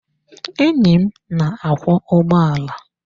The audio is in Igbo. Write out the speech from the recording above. Enyí m na-akwọ ụgbọala.